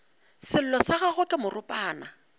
sello sa gagwe ke moropana